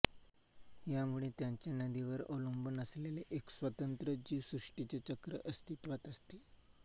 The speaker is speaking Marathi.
यामुळे त्यांचे नदीवर अवलंबून असलेले एक स्वतंत्र जीवसृष्टीचे चक्र अस्तित्त्वात असते